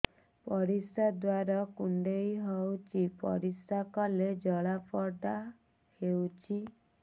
ପରିଶ୍ରା ଦ୍ୱାର କୁଣ୍ଡେଇ ହେଉଚି ପରିଶ୍ରା କଲେ ଜଳାପୋଡା ହେଉଛି